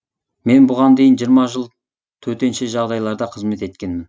мен бұған дейін жиырма жыл төтенше жағдайларда қызмет еткенмін